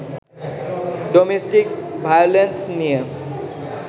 domestic violence নিয়ে